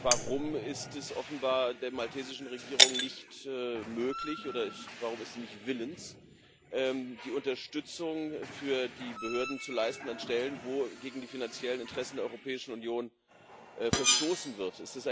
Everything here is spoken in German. Warum ist es offenbar der maltesischen Regierung nicht möglich oder warum ist sie nicht willens, die Unterstützung für die Behörden zu leisten an Stellen, wo gegen die finanziellen Interessen der Europäischen Union verstoßen wird?